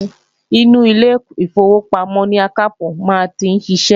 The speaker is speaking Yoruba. Inú ilé ìfowópamọ́ ni akápò maa n ti sise